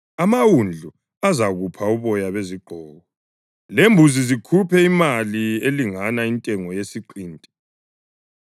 amawundlu azakupha uboya bezigqoko, lembuzi zikuphe imali elingana intengo yesiqinti.